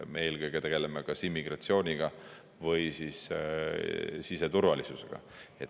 Me eelkõige tegeleme kas immigratsiooniga või siis siseturvalisusega.